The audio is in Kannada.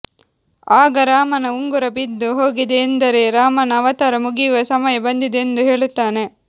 ಆಗ ರಾಮನ ಉಂಗುರ ಬಿದ್ದು ಹೋಗಿದೆ ಎಂದರೆ ರಾಮನ ಅವತಾರ ಮುಗಿಯುವ ಸಮಯ ಬಂದಿದೆ ಎಂದು ಹೇಳುತ್ತಾನೆ